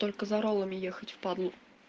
только за роллами ехать в падлу